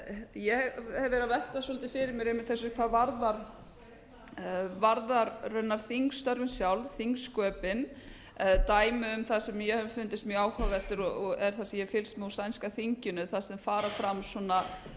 ég hef verið að velta svolítið fyrir mér einmitt þessu hvað varðar raunar þingstörfin sjálf þingsköpin dæmi um það sem mér hefur fundist mjög áhugaverð og hef ég fylgst með sænska þinginu þar sem fara